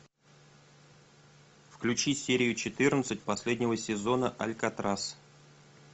включи серию четырнадцать последнего сезона алькатрас